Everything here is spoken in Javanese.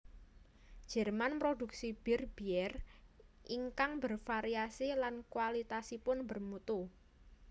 Jerman mproduksi bir Bier ingkang bervariasi lan kualitasipun bermutu